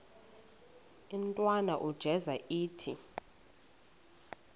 intwana unjeza ithi